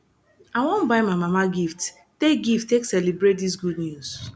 i wan buy my mama gift take gift take celebrate dis good news